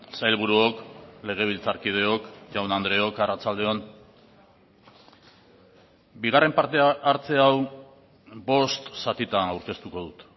sailburuok legebiltzarkideok jaun andreok arratsalde on bigarren parte hartze hau bost zatitan aurkeztuko dut